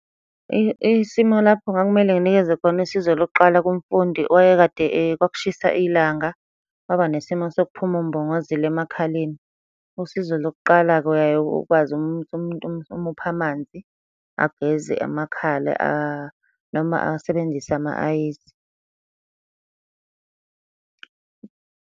Isimo lapho kwakumele nginikeze khona usizo lokuqala kumfundi owayekade kwakushisa ilanga, kwaba nesimo sokuphuma umbongozile emakhaleni. Usizo lokuqala-ke uyaye ukwazi umuntu umuphe amanzi, ageze amakhala noma asebenzise ama-ayisi.